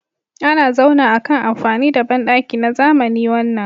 Ana zauna akan amfani da bandaki na zamani wannan